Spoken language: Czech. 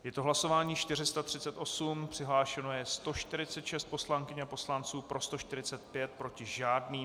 Je to hlasování 438, přihlášeno je 146 poslankyň a poslanců, pro 145, proti žádný.